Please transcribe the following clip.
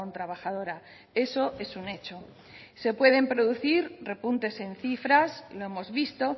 trabajadora eso es un hecho se pueden producir repuntes en cifras lo hemos visto